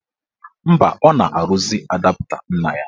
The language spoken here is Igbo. Mba, ọ na-arụzi adapta nna ya.